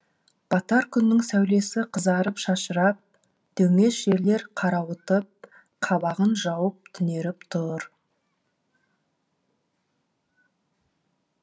батар күннің сәулесі қызарып шашырап дөңес жерлер қарауытып қабағын жауып түнеріп тұр